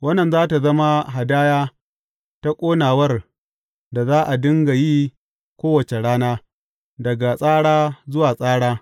Wannan za tă zama hadaya ta ƙonawar da za a dinga yi kowace rana, daga tsara zuwa tsara.